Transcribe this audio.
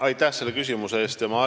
Aitäh selle küsimuse eest!